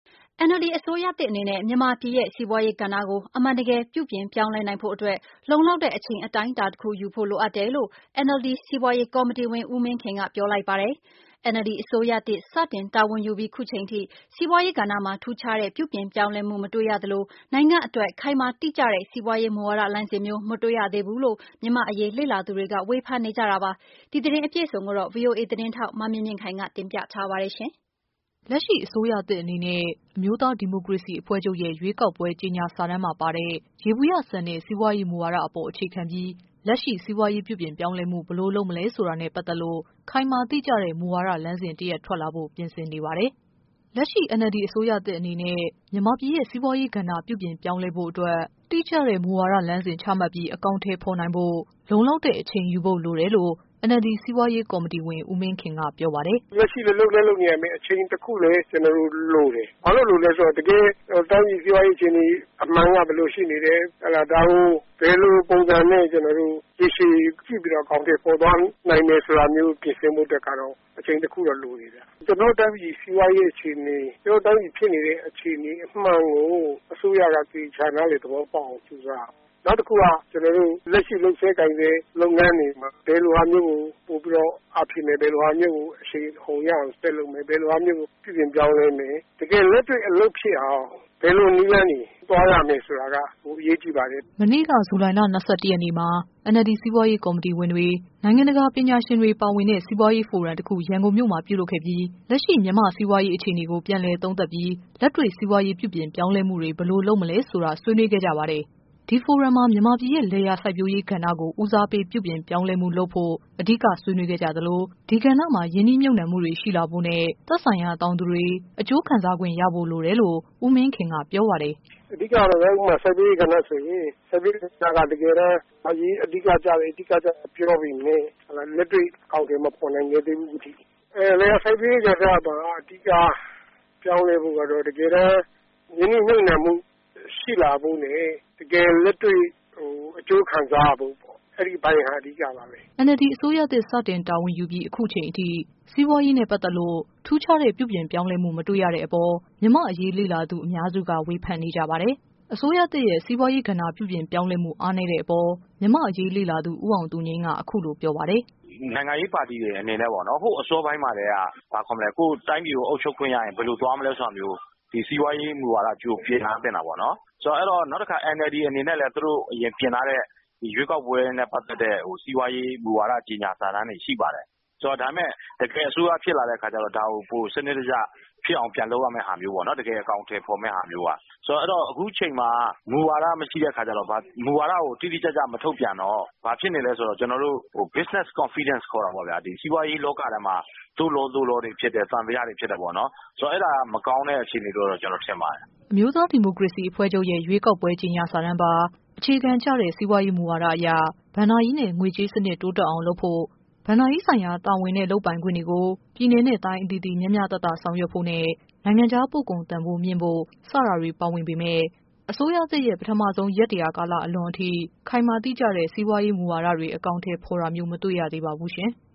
NLD အစိုးရသစ်အနေနဲ့ မြန်မာပြည်ရဲ့ စီးပွားရေးကဏ္ဍကို အမှန်တကယ် ပြုပြင်ပြောင်းလဲနိုင်ဖို့အတွက် လုံ လောက်တဲ့ အချိန် အတိုင်းအတာတခုယူဖို့ လိုအပ်တယ်လို့ NLD စီးပွားရေး ကော်မတီဝင် ဦးမင်းခင်က ပြောလိုက်ပါတယ်။ NLD အစိုးရသစ် စတင်တာဝန်ယူပြီး အခုချိန်ထိ စီးပွားရေးကဏ္ဍမှာ ထူးခြားတဲ့ ပြုပြင်ပြောင်းလဲ မှု မတွေ့ရသလို နိုင်ငံအတွက် ခိုင်မာတိကျတဲ့ စီးပွားရေး မူဝါဒလမ်းစဉ်မျိုး မတွေ့ရသေးဘူးလို့ မြန်မာ့ အရေး လေ့လာသူတွေ ဝေဖန်နေကြတာပါ။ ဒီ သတင်းအပြည့်အစုံကိုတော့ ဗွီအိုအေ သတင်းထောက် မမြင့်မြင့်ခိုင် က တင်ပြထားပါတယ်။ လက်ရှိ အစိုးရသစ်အနေနဲ့ အမျိုးသားဒီမိုကရေစီ အဖွဲ့ချုပ် ရဲ့ ရွေးကောက်ပွဲ ကြေညာစာတမ်းမှာ ပါတဲ့ ယေဘုယျဆန်တဲ့ စီးပွားရေးမူဝါဒအပေါ် အခြေခံပြီး လက်တွေ့မှာ စီးပွားရေးပြုပြင်ပြောင်းလဲမှု ဘယ်လို လုပ်မလဲဆိုတာနဲ့ ပတ်သက်လို့ ခိုင်မာတိကျတဲ့ မူဝါဒ လမ်းစဉ် တရပ် ထွက်လာဖို့ ပြင်ဆင်နေပါတယ်။ လက်ရှိ NLD အစိုးရသစ်အနေနဲ့ မြန်မာပြည်ရဲ့ စီးပွားရေးကဏ္ဍ ပြုပြင်ပြောင်းလဲဖို့ အတွက် တိကျတဲ့ မူဝါဒ လမ်းစဉ် ချမှတ်ပြီး အကောင်အထည် ဖော်နိုင်ဖို့ လုံလောက်တဲ့ အချိန်ယူဖို့ လိုတယ်လို့ NLD စီးပွားရေး ကော်မတီဝင် ဦးမင်းခင်က ပြောပါတယ်။ " လက်ရှိ လုပ်လည်း လုပ်နေကြတယ်။ အချိန်တခုလည်း ကျနော်တို့ လိုတယ်။ ဘာဖြစ်လို့ လိုလဲ ဆိုတော့ တကယ့်တိုင်းပြည်စီးပွားရေး အခြေအနေအမှန်က ဘယ်လိုရှိနေတယ်။ ဒါကို ကြည့်ပြီးတော့ ဘယ်လိုပုံစံနဲ့ ရေရှည် အကောင်အထည်ဖော်သွားနိုင်မလဲဆိုတာကို ပြင်ဆင်ဖို့အတွက်ကတော့ အချိန်တခုတော့ လိုတယ်ဗျ။ ကျနော်တို့တိုင်းပြည် စီးပွားရေးအခြေအနေ၊ ကျနော်တို့တိုင်းပြည် ဖြစ်နေတဲ့အခြေအနေ မှန်ကို အစိုးရက သေသေချာချာ နားလည်သဘောပေါက်အောင် ကြိုးစားဖို့လိုတယ်။ နောက်တခုက လက်ရှိ လုပ်ဆဲကိုင်ဆဲ အနေအထားတွေမှာ ဘယ်လိုဟာမျိုးကို ပိုပြီးတော့ အားဖြည့်မယ်။ ဘယ်လိုဟာမျိုးကို အရှိန်အဟုန်ရအောင်ဆက်လုပ်မယ်။ ဘယ်လိုဟာမျိုးကို ပြုပြင်ပြောင်းလဲမယ်။ တကယ်လက်တွေ့အလုပ်ဖြစ်အောင် ဘယ်လိုနည်းလမ်းတွေနဲ့သွားရမယ်ဆိုတာက ပိုအရေးကြီးပါတယ်။" မနေ့က ဇူလိုင်လ ၂၁ရက်နေ့မှာ NLD စီးပွားရေး ကော်မတီဝင်တွေ၊ နိုင်ငံတကာ ပညာရှင်တွေ ပါဝင်တဲ့ စီးပွားရေးဖိုရမ်တခု ပြုလုပ်ခဲ့ပြီး လက်ရှိ မြန်မာ့စီးပွားရေး အခြေအနေကို ပြန်လည်သုံးသပ်ပြီး လက်တွေ့ စီးပွားရေး ပြုပြင်ပြောင်းလဲမှု ဘယ်လိုလုပ်မလဲဆိုတာ ဆွေးနွေးခဲ့ကြပါတယ်။ ဒီဖိုရမ်မှာ မြန်မာပြည်ရဲ့ လယ်ယာစိုက်ပျိုးရေးကဏ္ဍကို ဦးစားပေး ပြုပြင်ပြောင်းလဲမှု လုပ်ဖို့ အဓိက ဆွေးနွေးခဲ့သလို ဒီကဏ္ဍမှာ ရင်းနှီးမြှုပ်နှံမှုရှိလာဖို့နဲ့ သက်ဆိုင်ရာ တောင်သူတွေ အကျိုးခံစားခွင့်ရဖို့ လိုတယ်လို့ ဦးမင်းခင် က ပြောပါတယ်။ " အဓိက ကတော့ဗျာ စိုက်ပျိုးရေးကဏ္ဍဆိုရင် တကယ့်အရေးကြီးတဲ့ ကဏ္ဍလို့ ပြောပေမဲ့ လက်တွေ့အကောင်အထည်မဖော်နိုင်ခဲ့သေးဘူး အခုထက်ထိ။ လယ်ယာစိုက်ပျိုးရေးကဏ္ဍဆိုတာက အဓိက ပြောင်းလဲဖို့ဆိုတာက ရင်းနှီးမြှုပ်နှံမှု ရှိလာဖို့နဲ့ တကယ်လက်တွေ့ အကျိုးခံစားရဖို့ပေါ့ အဲ့ဒီ့အပိုင်းကတော့ အဓိကပါပဲ။" NLD အစိုးရသစ်စတင် တာဝန်ယူပြီး အခုချိန်ထိ စီးပွားရေးနဲ့ ပတ်သက်တဲ့ ထူးခြားတဲ့ ပြုပြင်ပြောင်းမှု မတွေ့ ရတဲ့ အပေါ် မြန်မာ့အရေးလေ့လာသူ အများစုက ဝေဖန်နေကြပါတယ်။ အစိုးရသစ်ရဲ့ စီးပွားရေး ကဏ္ဍ ပြုပြင် ပြောင်းလဲမှု အားနည်းတဲ့အပေါ် မြန်မာ့အရေးလေ့လာသူ ဦးအောင်သူငြိမ်းက အခုလိုပြောပါတယ်။ " နိုင်ငံရေးပါတီတွေအနေနဲ့က ဟိုးအစောပိုင်းမှာကတည်းက ကိုယ် တိုင်းပြည်ကို အုပ်ချုပ်ခွင့်ရရင် ဘယ်လိုသွားမလဲဆိုတာလို ဒီစီးပွားရေးမူဝါဒကိုလည်း ကြိုပြင်ထားသင့်တာပေါ့နော်။ နောက်တခါ NLD အနေနဲ့လည်း အရင် သူတို့တင်ထားတဲ့ ရွေးကောက်ပွဲနဲ့ပတ်သက်တဲ့ စီးပွားရေးမူဝါဒ ကြေညာ စာတမ်းတွေရှိပါတယ်။ ဒါပေမဲ့ တကယ်အစိုးရဖြစ်လာတဲ့အခါကျတော့ ဒါကို ပိုစနစ်တကျဖြစ်အောင် ပြန်လုပ်ရမယ့်ဟာ မျိုး တကယ်အကောင်အထည်ဖော်မယ့် ဟာမျိုး ဆိုတော့ အဲ့ဒီ့တော့ အခုအချိန်မှာ မူဝါဒ မရှိတဲ့အခါကျတော့ မူဝါဒကို တိတိကျကျ မထုတ်ပြန်တော့ ဘာဖြစ်နေလဲဆိုတော့ စီးပွားရေးလောကထဲမှာ သို့လော သို့လောတွေ ဖြစ်တယ်။ သံသယတွေဖြစ်တယ်ပေါ့နော်။ ဆိုတော့ အဲ့တာက မကောင်းတဲ့အခြေအနေလို့ ကျနော်ထင်ပါတယ်။" အမျိုးသားဒီမိုကရေစီအဖွဲ့ချုပ်ရဲ့ ရွေးကောက်ပွဲ ကြေညာစာတမ်းပါ အခြေခံကျတဲ့ စီးပွားရေးမူဝါဒအရ ဘဏ္ဍာ ရေးနဲ့ ငွေကြေးစနစ်တိုးတက်အောင်လုပ်ဖို့၊ ဘဏ္ဍာရေးဆိုင်ရာ တာဝန်နဲ့ လုပ်ပိုင်ခွင့်တွေကို ပြည်နယ်နဲ့ တိုင်း အသီးသီး မျှမျှတတ ဆောင်ရွက်ဖို့နဲ့ နိုင်ငံခြား ပို့ကုန်တန်ဖိုး မြင့်ဖို့ စတာတွေ ပါဝင်ပေမယ့် အစိုးရသစ်ရဲ့ ပထမ ဆုံး ရက် ၁၀၀ ကာလအလွန်ထိ ခိုင်မာတိကျတဲ့ စီးပွားရေး မူဝါဒတွေ အကောင်အထည်ဖော်တာမျိုး မတွေ့ရ သေးပါဘူး။